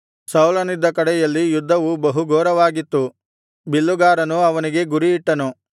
ಸೌಲನಿದ್ದ ಕಡೆಯಲ್ಲಿ ಯುದ್ಧವು ಬಹು ಘೋರವಾಗಿತ್ತು ಬಿಲ್ಲುಗಾರನು ಅವನಿಗೆ ಗುರಿಯಿಟ್ಟನು